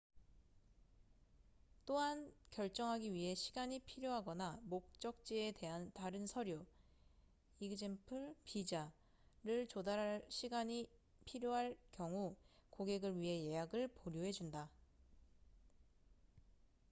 또한 결정하기 위해 시간이 필요하거나 목적지에 대한 다른 서류e.g. 비자를 조달할 시간이 필요할 경우 고객을 위해 예약을 보류해 준다